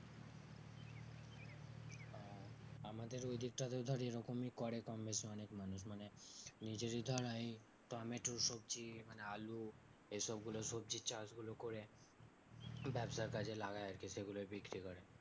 আমাদের ওই দিকটাতে ধর ওইরকমই করে কম বেশি অনেক মানুষ মানে নিজেরই ধর আই টমেটো সবজি মানে আলু এসব গুলো সবজির চাষগুলো করে ব্যাবসার কাজে লাগাই আরকি সেগুলোই বিক্রি করে